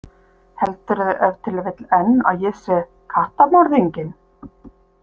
Heldurðu ef til vill enn að ég sé kattamorðinginn?